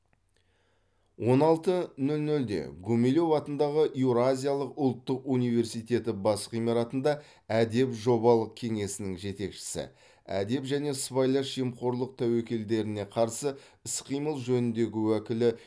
он алты нөл нөлде гумилев атындағы еуразия ұлттық университеті бас ғимаратында әдеп жобалық кеңсесінің жетекшісі әдеп және сыбайлас жемқорлық тәуекелдеріне қарсы іс қимыл жөніндегі уәкілі